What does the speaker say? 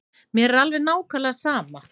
Mér er alveg nákvæmlega sama.